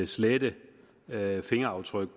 slette fingeraftryk